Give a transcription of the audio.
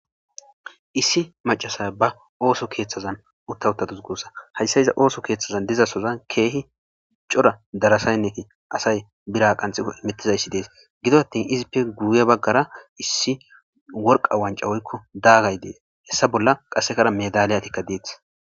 Issi macasay ba ooso keeththazan uttawutaduzgossa hayssa iza ooso keeththazan dizasozan keehi cora darasaynneti asay bira qanxikko imittizayssi dees gido attin izippe guuye baggara issi worqa wancawoykko daagay dees hessa bolla qasekara medaliyatikka deeth.